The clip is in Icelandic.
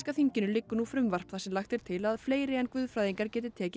þinginu liggur nú frumvarp þar sem lagt er til að fleiri en guðfræðingar geti tekið